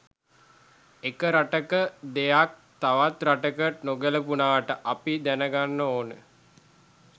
එක රටක දෙයක් තව රටකට නොගැලපුණාට අපි දැනගන්න ඕන